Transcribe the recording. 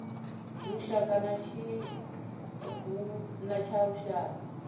lushaka na tshiangu tsha lushaka